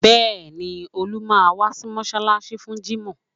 Bẹ́ẹ̀ni, Olú máa wá sí mọ́ṣáláṣí fún jímọ̀